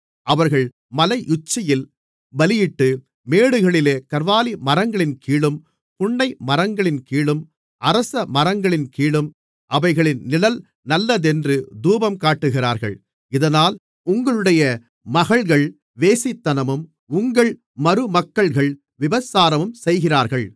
அவர்கள் மலையுச்சியில் பலியிட்டு மேடுகளிலே கர்வாலிமரங்களின் கீழும் புன்னைமரங்களின் கீழும் அரசமரங்களின் கீழும் அவைகளின் நிழல் நல்லதென்று தூபங்காட்டுகிறார்கள் இதனால் உங்களுடைய மகள்கள் வேசித்தனமும் உங்கள் மருமக்கள்கள் விபசாரமும் செய்கிறார்கள்